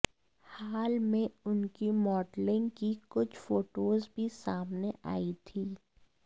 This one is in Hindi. हाल में उनकी मॉडलिंग की कुछ फोटोज भी सामने आई थीं